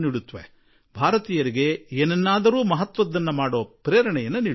ಹೊಸ ಸ್ಫೂರ್ತಿಯನ್ನೂ ಕೊಡುತ್ತವೆ ಮತ್ತು ಇದೇ ಭಾರತ ವಾಸಿಗಳಿಗೆ ಏನಾದರೂ ಮಾಡಿ ಹೋಗಲು ಸ್ಫೂರ್ತಿಯನ್ನೂ ಕೊಡುತ್ತದೆ